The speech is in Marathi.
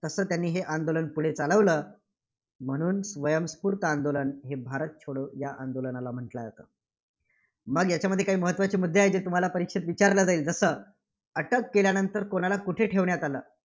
तसं त्यांनी हे आंदोलन पुढं चालवलं. म्हणून स्वयंस्फूर्त आंदोलन हे भारत छोडो आंदोलनाला म्हटलं जातं. मग याच्यामध्ये काही महत्त्वाचे मुद्दे आहेत, जे तुम्हाला परीक्षेत विचारले जाईल. जसं अटक केल्यानंतर कोणाला कुठे ठेवण्यात आलं?